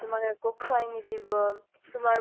তোমাক একো খোৱাই নিদিব । তোমাৰ